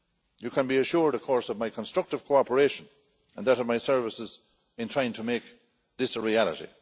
You can be assured, of course, of my constructive cooperation and that of my services in trying to make this a reality.